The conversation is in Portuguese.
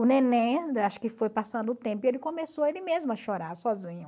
O neném, acho que foi passando o tempo, ele começou ele mesmo a chorar sozinho.